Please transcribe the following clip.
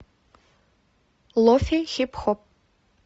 лофе хип хоп